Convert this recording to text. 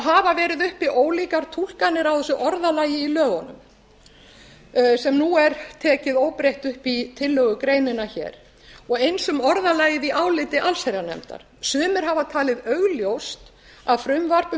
hafa verið uppi ólíkar túlkanir á þessu orðalagi í lögunum sem nú er tekið óbreytt upp í tillögugreinina hér og eins um orðalagið í áliti allsherjarnefndar sumir hafa talið augljóst að frumvarp um